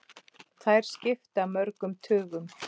Þær skipta mörgum tugum!